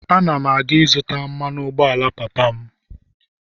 Ana m aga ịzụta mmanụ ụgbọala papa m